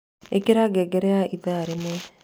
Ikira ngengerekia ithaa rimwe